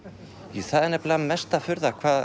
já það er nefnilega mesta furða hvað